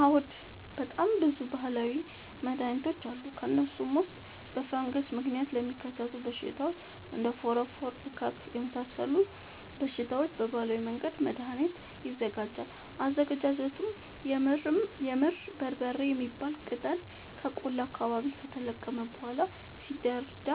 አዎድ በጣም ብዙ በሀላዊ መድሀኒቶች አሉ ከእነሱም ውስጥ በፈንገስ ምክንያት ለሚከሰቱ በሽታዎች እንደ ፎረፎር እከክ የመሳሰሉ በሽታዎች በባህላዊ መንገድ መድሀኒት ይዘጋጃል አዘገጃጀቱም የምድር በርበሬ የሚባል ቅጠል ከቆላ አካባቢ ከተለቀመ በኋላ ሲደርዳ